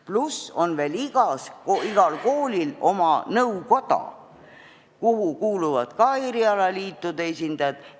Pluss igal koolil on oma nõukoda, kuhu kuuluvad ka erialaliitude esindajad.